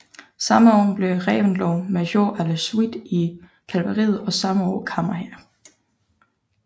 Samme år blev Reventlow major à la suite i kavaleriet og samme år kammerherre